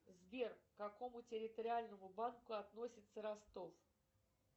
сбер к какому территориальному банку относится ростов